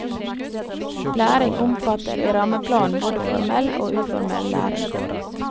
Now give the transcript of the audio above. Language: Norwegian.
Læring omfatter i rammeplanen både formell og uformell læring.